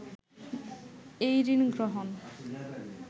এই ঋণগ্রহণ